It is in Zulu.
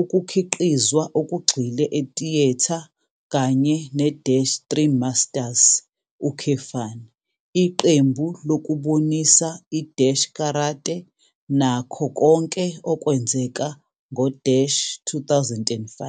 Ukukhiqizwa okugxile etiyetha kanye ne-3 Masters, iqembu lokubonisa i-karate nakho konke okwenzeka ngo-2005.